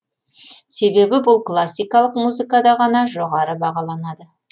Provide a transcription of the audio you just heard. себебі бұл классикалық музыкада ғана жоғары бағаланады